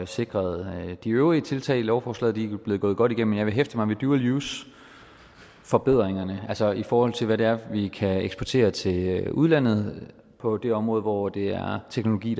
sikret de øvrige tiltag i lovforslaget de er blevet gået godt igennem men jeg vil hæfte mig ved dual use forbedringerne altså i forhold til hvad det er vi kan eksportere til udlandet på det område hvor det er teknologi